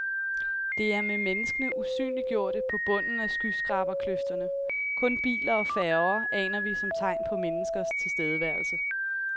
Det er med menneskene usynliggjorte på bunden af skyskraberkløfterne, kun biler og færger aner vi som tegn på menneskers tilstedeværelse.